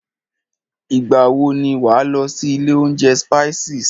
Ìgbà wọ ni wà á lọ sí ilé oúnjẹ Spices?